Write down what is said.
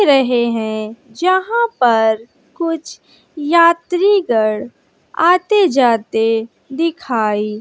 हैं जहां पर कुछ यात्री गण आते जाते दिखाई--